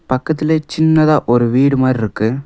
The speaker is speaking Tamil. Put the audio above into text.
பக்கத்திலே சின்னதா ஒரு வீடு மாரி இருக்கு.